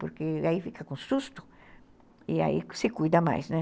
Porque aí fica com susto e aí se cuida mais, né?